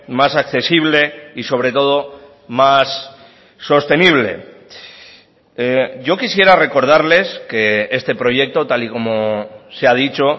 más accesible y sobre todo más sostenible yo quisiera recordarles que este proyecto tal y como se ha dicho